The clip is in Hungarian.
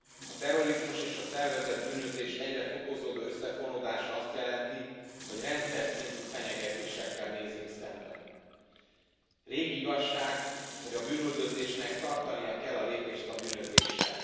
A terrorizmus és a szervezett bűnözés egyre fokozódó összefonódása azt jelenti, hogy rendszerszintű fenyegetésekkel nézünk szembe régi igazság, hogy a bűnüldözésnek tartania kell a lépést a bűnözéssel.